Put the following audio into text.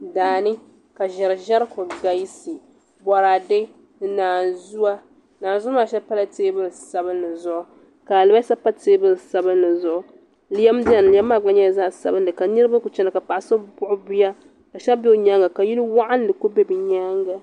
Daani ka ʒɛri ʒɛri ku galisi boraadɛ ni naanzuwa naanzuu maa shɛli pala teebuli sabinli zuɣu ka alibarisa pa teebuli sabinli zuɣu lɛm biɛni lɛm maa gba nyɛla zaɣ sabinki ka niraba ku chɛna ka paɣa so buɣi bia ka shab bɛ nyaanga ka yili waɣanli ku bɛ di nyaanga